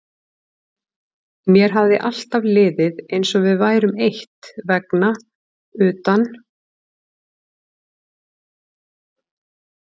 Mér hafði alltaf liðið eins og við værum eitt vegna utan